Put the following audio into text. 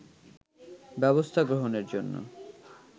ব্যবস্থা গ্রহণের জন্য